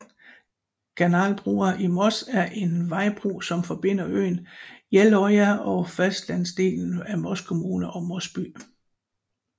Kanalbrua i Moss er en vejbro som forbinder øen Jeløya og fastlandsdelen af Moss kommune og Moss by